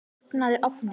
Opnaðu ofninn!